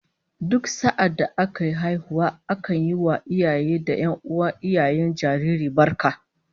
Duk sa'adda aka yi haihuwa akan yi wa iyaye da 'yan'uwan iyayen jaririn barka